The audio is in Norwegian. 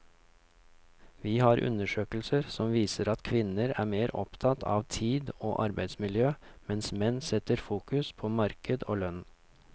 Vi har undersøkelser som viser at kvinner er mer opptatt av tid og arbeidsmiljø, mens menn setter fokus på marked og lønn.